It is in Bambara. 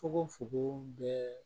Fogofogo bɛɛ